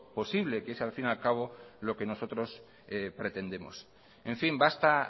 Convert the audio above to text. posible que es al fin y al cabo lo que nosotros pretendemos en fin basta